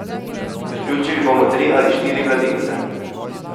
Priključili bomo tri ali štiri mladince.